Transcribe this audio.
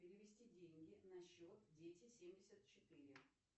перевести деньги на счет дети семьдесят четыре